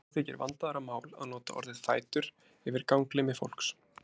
Þó þykir vandaðra mál að nota orðið fætur yfir ganglimi fólks.